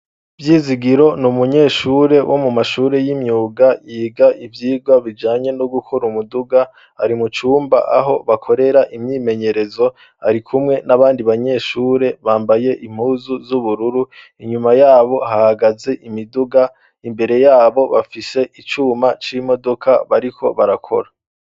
Vyizigiro ni umunyeshure wo mu mashuri y'imyuga yiga ivyigwa bijanye no gukora umuduga ari mucumba aho bakorera imyimenyerezo ari kumwe n'abandi banyeshure bambaye impuzu z'ubururu inyuma yabo haagaze imiduga imbere yabo bafise icuma c'imodoka bariko barakora.